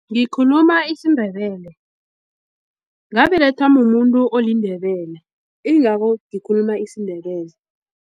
Ngikhuluma isiNdebele ngabelethwa mumuntu oliNdebele. Ingako ngikhuluma isiNdebele.